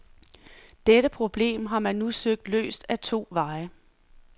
Dette problem har man nu søgt løst ad to veje.